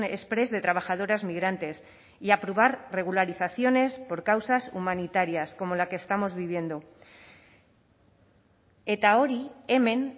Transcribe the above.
exprés de trabajadoras migrantes y aprobar regularizaciones por causas humanitarias como la que estamos viviendo eta hori hemen